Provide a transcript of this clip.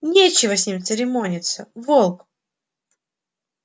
нечего с ними церемониться волк